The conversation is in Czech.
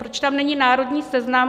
Proč tam není národní seznam?